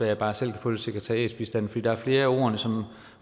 jeg bare selv kan få lidt sekretariatsbistand for der er flere af ordene som